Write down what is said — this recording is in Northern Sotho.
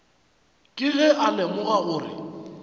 ke ge a lemoga gore